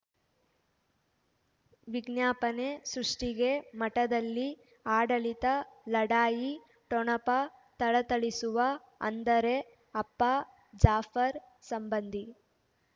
ವಿಜ್ಞಾಪನೆ ಸೃಷ್ಟಿಗೆ ಮಠದಲ್ಲಿ ಆಡಳಿತ ಲಢಾಯಿ ಠೊಣಪ ಥಳಥಳಿಸುವ ಅಂದರೆ ಅಪ್ಪ ಜಾಫರ್ ಸಂಬಂಧಿ